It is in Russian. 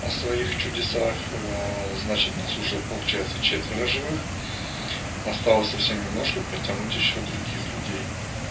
о своих чудесах значит нас уже получается четверо живых осталось совсем немножко подтянуть ещё других людей